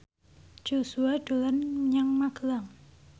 Joshua dolan menyang Magelang